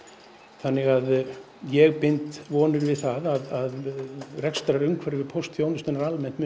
þannig að ég bind vonir við það að rekstrarumhverfi póstþjónustunnar almennt muni